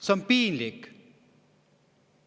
See on piinlik!